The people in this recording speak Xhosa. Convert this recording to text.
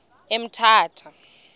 emthatha